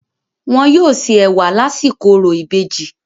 Wọn yóò se ẹ̀wà lásìkò orò ìbejì.